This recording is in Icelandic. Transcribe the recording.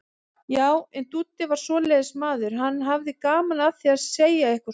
Já, en Dúddi var svoleiðis maður, hann hafði gaman af því að segja eitthvað svona.